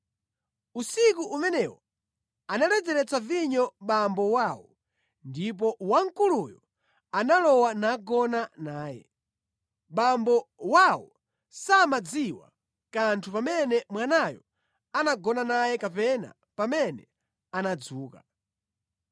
Usiku umenewo analedzeretsa vinyo abambo awo, ndipo wamkuluyo analowa nagona naye. Abambo awo samadziwa kanthu pamene mwanayo anagona naye kapena pamene anadzuka.